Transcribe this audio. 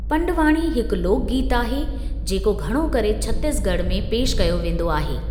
पंडवाणी हिकु लोक गीतु आहे जेको घणो करे छत्तीस ॻढ़ में पेश कयो वेंदो आहे।